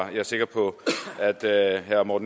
så er det herre